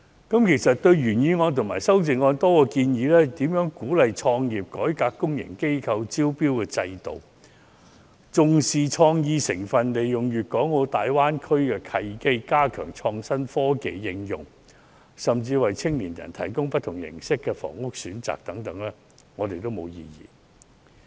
對於原議案和修正案中多項建議，由如何鼓勵創業、改革公營機構的招標制度、重視創意、利用粵港澳大灣區的契機、加強創新科技的應用，以至為青年人提供不同形式的房屋選擇等，我們都沒有異議。